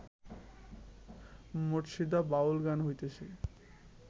মুর্শিদা বাউল গান হইতেছে